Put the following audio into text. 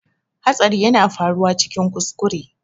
Hatsari yana faruwa cikin kuskure